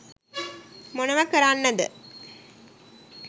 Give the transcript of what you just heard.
මොනවා කරන්නද